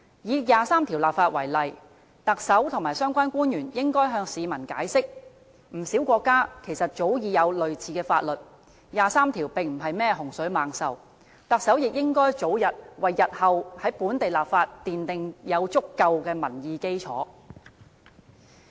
以第二十三條立法為例，特首和相關官員應該向市民解釋，不少國家早已有類似的法律，第二十三條並不是甚麼洪水猛獸，特首也應該早日為日後在本地立法奠定足夠的民意基礎。